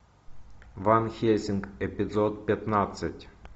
ван хельсинг эпизод пятнадцать